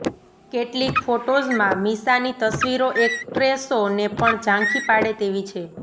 કેટલીક ફોટોઝમાં મીશાની તસવીરો એકટ્રેસોને પણ ઝાંખી પાડે તેવી છે